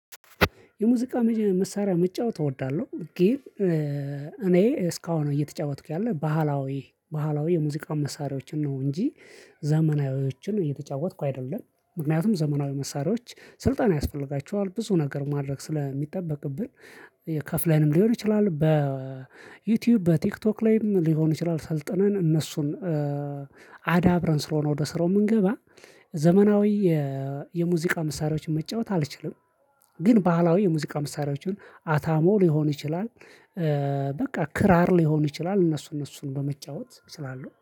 የሙዚቃ መሳሪያ መጫወት እወዳለሁ ግን እኔ እስካሁን እየተጫወትኩ ያለ ባህላዊ ባህላዊ የሙዚቃ መሳሪያዎችን ነው እንጂ ዘመናዊዎችን እየተጫወትኩ አይደለም ምክንያቱም ዘመናዊ መሳሪያዎች ስልጣን ያስፈልጋቸዋል ብዙ ነገር ማድረግ ስለሚጠበቅብን የከፍለንም ሊሆን ይችላል በዩቲዩብ በቲክቶክ ላይም ሊሆን ይችላል ሰልጥነን እነሱን አዳብረን ስለሆነ ወደ ስራው የምንገባ ዘመናዊ የሙዚቃ ምሳሪያዎችን መጫወት አልችልም። ግን ባህላዊ የሙዚቃ ምሳሪያዎችን አታሞ ሊሆን ይችላል በቃ ክራር ሊሆን ይችላል እነሱ እነሱን በመጫወት ስላሉ